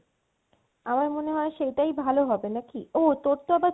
আমার মনে হয়ে সেটাই ভালো হবে নাকি? ও তোর তো আবার